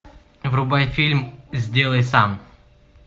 врубай фильм сделай сам